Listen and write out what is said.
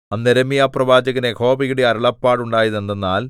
അന്ന് യിരെമ്യാപ്രവാചകന് യഹോവയുടെ അരുളപ്പാടുണ്ടായതെന്തെന്നാൽ